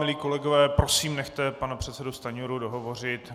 Milí kolegové, prosím, nechte pana předsedu Stanjuru dohovořit.